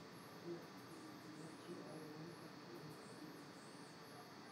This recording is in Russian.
сбер включи ориентал ин стиль